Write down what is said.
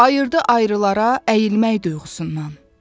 Ayırdı ayrılara əyilmək yuxusundan.